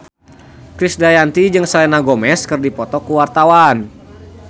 Krisdayanti jeung Selena Gomez keur dipoto ku wartawan